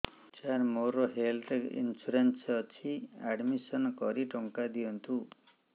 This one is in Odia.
ସାର ମୋର ହେଲ୍ଥ ଇନ୍ସୁରେନ୍ସ ଅଛି ଆଡ୍ମିଶନ କରି ଟଙ୍କା ଦିଅନ୍ତୁ